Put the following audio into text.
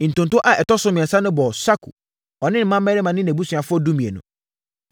Ntonto a ɛtɔ so mmiɛnsa no bɔɔ Sakur, ɔne ne mmammarima ne nʼabusuafoɔ (12)